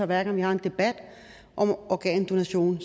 hver gang vi har en debat om organdonation